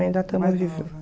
Ainda estamos